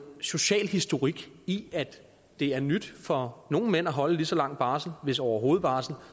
social historik i at det er nyt for nogle mænd at holde lige så lang barsel hvis overhovedet barsel